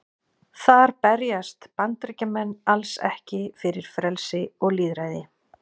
þar berjast bandaríkjamenn alls ekki fyrir frelsi og lýðræði